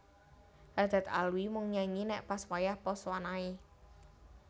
Haddad Alwi mung nyanyi nek pas wayah posoan ae